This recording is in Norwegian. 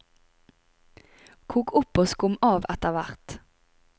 Kok opp og skum av etterhvert.